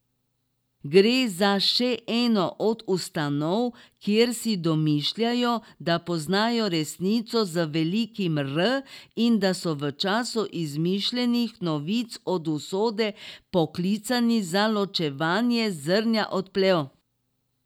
Gre za še eno od ustanov, kjer si domišljajo, da poznajo resnico z velikim R in da so v času izmišljenih novic od usode poklicani za ločevanje zrnja od plev.